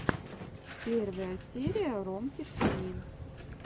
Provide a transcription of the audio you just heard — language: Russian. первая серия ромки тиви